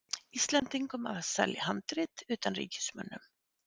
Íslendingum að selja handrit utanríkismönnum.